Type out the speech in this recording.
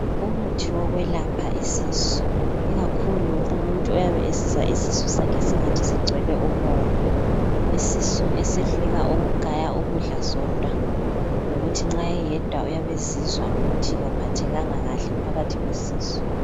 Umuthi wokwelapha isisu, ikakhulu umuntu oyabe esizwa isisu sakhe singani sigcwele umoya, isisu esehluleka ukugaya ukudla sodwa, lokuthi nxa eyedwa uyabe ezizwa ukuthi kaphathekanga kahle phakathi kwesisu.